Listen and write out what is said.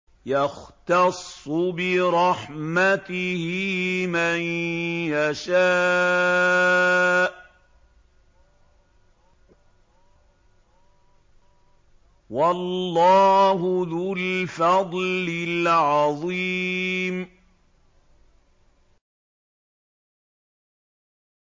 يَخْتَصُّ بِرَحْمَتِهِ مَن يَشَاءُ ۗ وَاللَّهُ ذُو الْفَضْلِ الْعَظِيمِ